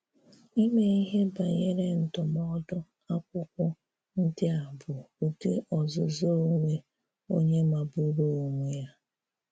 Ìmé íhè banyere ndúmòdù Àkwụ́kwọ̀ ndị a bụ́ Ụ́dị ọ̀zụ̀zụ̀ onwe onye màgbùrù onwe ya.